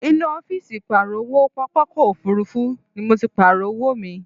Inú ọ́fìsì ìpààrọ̀ owó pápákọ̀ òfuurufú ni mo ti Pààrọ̀ owó mi